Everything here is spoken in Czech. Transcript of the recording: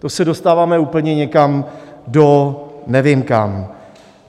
To se dostáváme úplně někam do nevím kam.